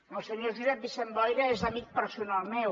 el senyor josep vicent boira és amic personal meu